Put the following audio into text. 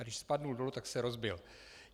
A když spadl dolů, tak se rozbil.